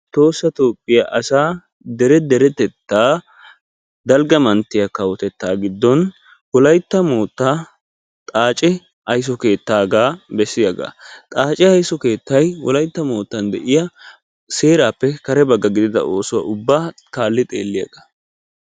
Tohoossa toophiya asaa dere deretettaa dalgga manttiya kawotettaa giddon wolaytta moottaa xaace ayso keettaagaa bessiyaga. Xaace ayso keettayi wolaytta moottan de'iya seeraappe kare bagga gidida ooso ubbaa kaalli xeelliyagaa.